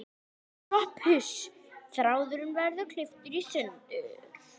SOPHUS: Þráðurinn verður klipptur í sundur.